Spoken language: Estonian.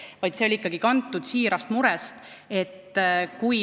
Tegelikult olen ma täitsa kindel, et see ei olnud ettepaneku tegijal niimoodi mõeldud.